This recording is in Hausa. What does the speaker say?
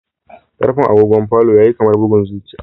Karfe agogon falo yayi kamar bugun zuciya